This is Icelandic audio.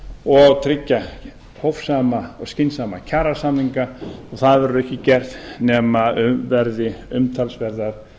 og tryggja hófsama og skynsamlega kjarasamninga og það verður ekki gert nema um verði umtalsverðar